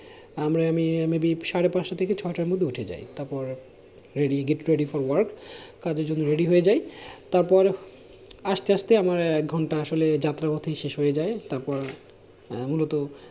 আমরা আমি আমি beep সাড়ে পাঁচটা থেকে ছটার মধ্যে উঠে যাই তারপর ready get ready for work কাজের জন্যে ready হয়ে যাই তারপর আস্তে আস্তে আমার এক ঘন্টার আসলে যাত্রা পথেই শেষ হয়ে যাই তারপর মূলত